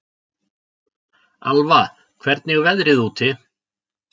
Alva, hvernig er veðrið úti?